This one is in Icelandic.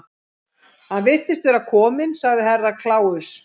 Hann virðist vera kominn, sagði Herra Kláus.